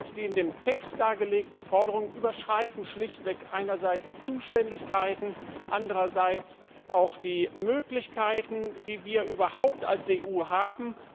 Die in dem Text dargelegten Forderungen überschreiten schlichtweg einerseits die Zuständigkeiten, andererseits auch die Möglichkeiten, die wir als EU überhaupt haben.